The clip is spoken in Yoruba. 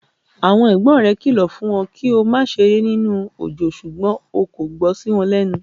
Àwọn ẹ̀gbọ́n rẹ kìlọ̀ fún ọ kí o má ṣeré nínú òjò ṣùgbọ́n o kò gbọ́ sí wọn lẹ́nu.